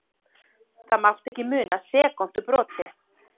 Það mátti ekki muna sekúndubroti.